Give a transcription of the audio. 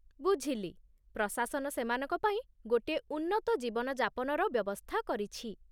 ବୁଝିଲି! ପ୍ରଶାସନ ସେମାନଙ୍କ ପାଇଁ ଗୋଟିଏ ଉନ୍ନତ ଜୀବନଯାପନର ବ୍ୟବସ୍ଥା କରିଛି!